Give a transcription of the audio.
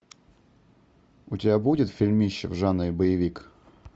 у тебя будет фильмище в жанре боевик